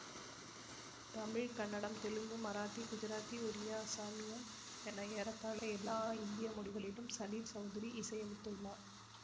தமிழ் கன்னடம் தெலுங்கு மராத்தி குஜராத்தி ஒரியா அஸாமியம் என ஏறத்தாழ எல்லா இந்திய மொழிகளிலும் சலீல் சௌதுரி இசையமைத்துள்ளார்